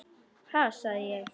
Ha, sagði ég.